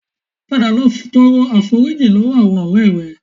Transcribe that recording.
Padà lọ tọrọ àforíjì lọ́wọ́ àwọn ọ̀rẹ́ rẹ